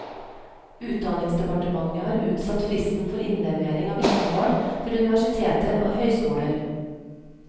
Utdanningsdepartementet har utsatt fristen for innlevering av vitnemål til universiteter og høyskoler.